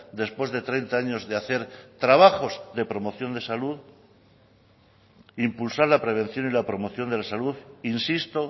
después de treinta años de hacer trabajos de promoción de salud impulsar la prevención y la promoción de la salud insisto